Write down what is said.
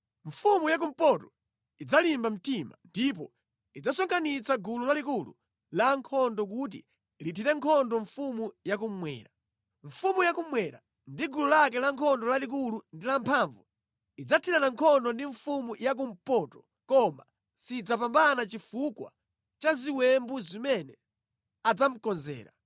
“Mfumu ya kumpoto idzalimba mtima, ndipo idzasonkhanitsa gulu lalikulu la ankhondo kuti lithire nkhondo mfumu yakummwera. Mfumu yakummwera ndi gulu lake lankhondo lalikulu ndi lamphamvu idzathirana nkhondo ndi mfumu yakumpoto koma sidzapambana chifukwa cha ziwembu zimene adzamukonzera.